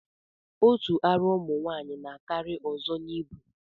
Otu ara ụmụnwaanyị na-akarị nke ọzọ n'ibu